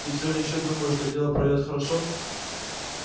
ты всё ещё думаешь что дело пойдёт хорошо